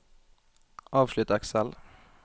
avslutt Excel